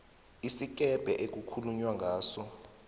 isikebhe okukhulunywa ngaso